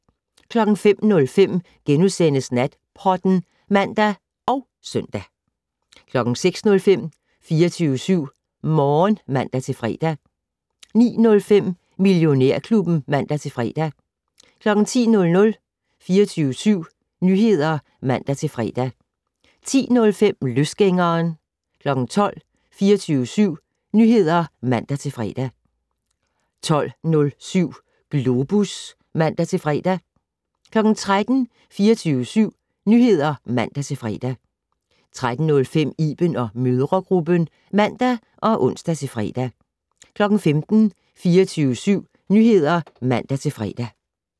05:05: Natpodden *(man og søn) 06:05: 24syv Morgen (man-fre) 09:05: Millionærklubben (man-fre) 10:00: 24syv Nyheder (man-fre) 10:05: Løsgængeren 12:00: 24syv Nyheder (man-fre) 12:07: Globus (man-fre) 13:00: 24syv Nyheder (man-fre) 13:05: Iben & mødregruppen (man og ons-fre) 15:00: 24syv Nyheder (man-fre)